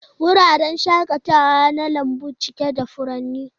Wuraren shakatawa na lambu cike da furanni.